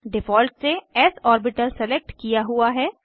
default से S orbital select किया हुआ है